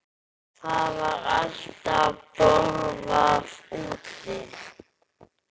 Það var alltaf borðað úti.